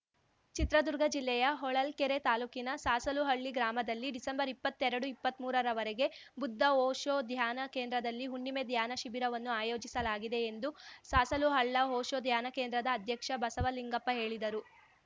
ಚಿತ್ರದುರ್ಗ ಜಿಲ್ಲೆಯ ಹೊಳಲ್ಕೆರೆ ತಾಲೂಕಿನ ಸಾಸಲುಹಳ್ಳಿ ಗ್ರಾಮದಲ್ಲಿ ಡಿಸೆಂಬರ್ಇಪ್ಪತ್ತೆರಡುಇಪ್ಪತ್ಮೂರರವರೆಗೆ ಬುದ್ಧ ಓಶೋ ಧ್ಯಾನ ಕೇಂದ್ರದಲ್ಲಿ ಹುಣ್ಣಿಮೆ ಧ್ಯಾನ ಶಿಬಿರವನ್ನು ಆಯೋಜಿಸಲಾಗಿದೆ ಎಂದು ಸಾಸಲುಹಳ್ಳ ಓಶೋ ಧ್ಯಾನ ಕೇಂದ್ರದ ಅಧ್ಯಕ್ಷ ಬಸವಲಿಂಗಪ್ಪ ಹೇಳಿದರು